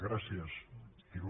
gràcies il